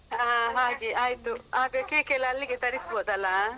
ಹ ಹಾಗೆ ಆಯ್ತು ಆಗ cake ಅಲ್ಲಿಗೆ ತರಿಸ್ಬೋದಲ್ಲ.